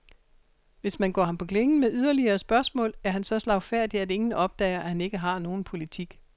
Hvis man går ham på klingen med yderligere spørgsmål, er han så slagfærdig, at ingen opdager, at han ikke har nogen politik.